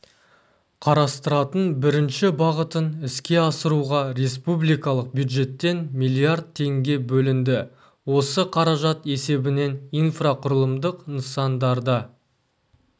қарастыратын бірінші бағытын іске асыруға республикалық бюджеттен миллиард теңге бөлінді осы қаражат есебінен инфрақұрылымдық нысандарда